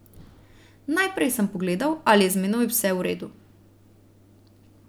Najprej sem pogledal, ali je z menoj vse v redu.